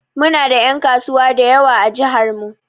Mu na da en kasuwa dayawa a jihar mu.